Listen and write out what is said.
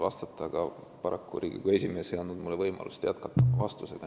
Paraku ei andnud Riigikogu esimees mulle võimalust vastust jätkata.